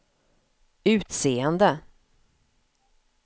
utseende